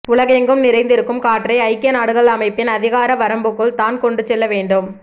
உலகெங்கும் நிறைந்திருக்கும் காற்றை ஐக்கிய நாடுகள் அமைப்பின் அதிகார வரம்புக்குள் தான் கொண்டு செல்ல வேண்டும்